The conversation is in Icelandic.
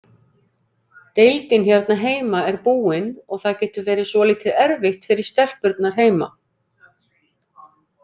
Deildin hérna heima er búin og það getur verið svolítið erfitt fyrir stelpurnar heima.